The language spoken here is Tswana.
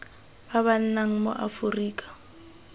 ba ba nnang mo aforika